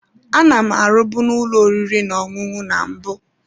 Ana m arụbu n'ụlọ oriri n'ọṅụṅụ na mbụ.